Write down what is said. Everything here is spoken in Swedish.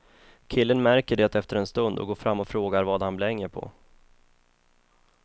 Killen märker det efter en stund och går fram och frågar vad han blänger på.